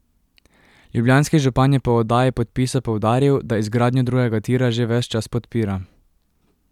Ljubljanski župan je po oddaji podpisa poudaril, da izgradnjo drugega tira že ves čas podpira.